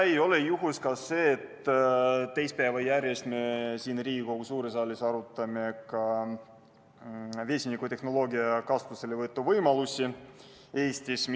Ei ole juhus, et me teist päeva järjest siin Riigikogu suures saalis arutame vesinikutehnoloogia kasutuselevõtu võimalusi Eestis.